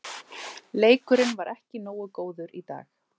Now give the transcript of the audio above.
Leikurinn var ekki nógu góður í dag.